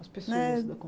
As pessoas da